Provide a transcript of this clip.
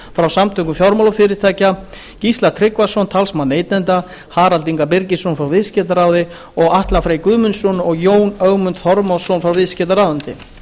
frá samtökum fjármálafyrirtækja gísla tryggvason talsmann neytenda harald inga birgisson frá viðskiptaráði og atla frey guðmundsson og jón ögmund þormóðsson frá viðskiptaráðuneyti